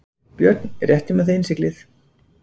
BJÖRN: Réttið mér þá innsiglið.